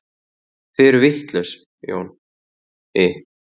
Þið eruð vitlaus, Jóni